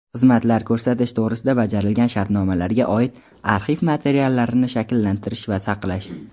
xizmatlar ko‘rsatish to‘g‘risida bajarilgan shartnomalarga oid arxiv materiallarini shakllantirish va saqlash;.